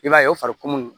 I b'a ye o fari munnu